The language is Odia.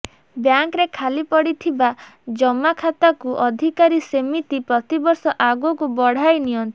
ବ୍ୟାଙ୍କରେ ଖାଲି ପଡ଼ିଥିବା ଜମା ଖାତାକୁ ଅଧିକାରୀ ସେମିତି ପ୍ରତିବର୍ଷ ଆଗକୁ ବଢ଼ାଇ ନିଅନ୍ତି